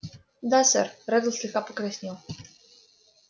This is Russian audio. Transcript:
да сэр реддл слегка покраснел